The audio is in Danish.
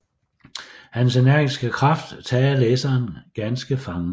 Hans energiske kraft tager læseren ganske fangen